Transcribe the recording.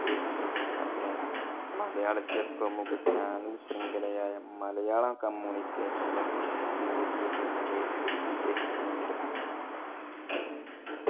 ഇദ്ദേഹത്തിന്റെ അഭിനയം. മലയാളത്തിലെ പ്രമുഖ channel ശൃംഖല ആയ മലയാളം communication ന്റെ രൂപീകരണം വരെ ഇദ്ദേഹത്തിനുണ്ട്.